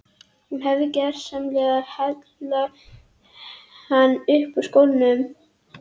Hún hefur gersamlega heillað hann upp úr skónum.